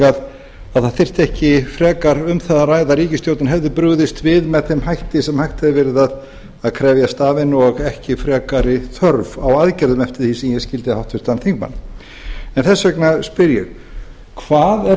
að það þyrfti ekki frekar um það að ræða að ríkisstjórnin hefði brugðist við með þeim hætti sem hægt hefði verið að krefjast af henni og ekki frekari þörf á aðgerðum eftir því sem ég skildi háttvirtan þingmann og þess vegna spyr ég hvað er